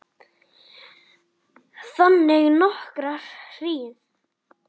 Þagði nokkra hríð.